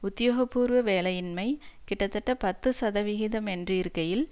உத்தியோக பூர்வ வேலையின்மை கிட்டத்தட்ட பத்து சதவிகிதம் என்று இருக்கையில்